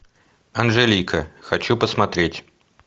анжелика хочу посмотреть